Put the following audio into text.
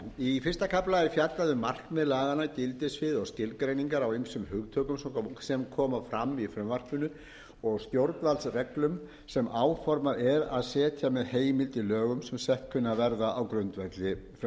í fyrsta kafla er fjallað um markmið gildissvið og skilgreiningar á ýmsum hugtökum sem koma fram í frumvarpinu og stjórnvaldsreglum sem áformað er að setja með heimild í lögum sem sett kunna að verða á grundvelli frumvarpsins